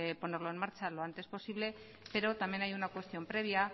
ponerlo en marcha lo antes posible pero también hay una cuestión previa